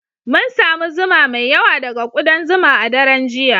Mun samu zuma mai yawa daga kudan zuma a daren jiya